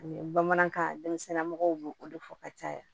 bamanankan denmisɛnninw b'o o de fɔ ka caya